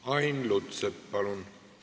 Ain Lutsepp, palun!